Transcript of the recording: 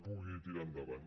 pugui tirar endavant